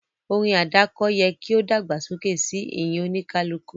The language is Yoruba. Orin àdáko yẹ ki o dàgbàsókè si ìyìn olúkúlùkù